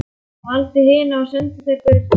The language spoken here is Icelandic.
Hann valdi hina og sendi þær burt.